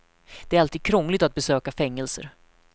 Det är alltid krångligt att besöka fängelser.